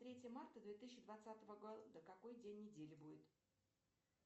третье марта две тысячи двадцатого года какой день недели будет